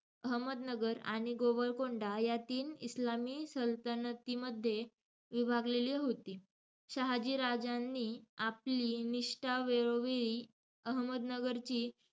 अहमदनगर आणि गोवळकोंडा या तीन इस्लामी सल्तनतींमध्ये विभागलेली होती. शहाजीराजांनी आपली निष्ठा वेळोवेळी अहमदनगरची,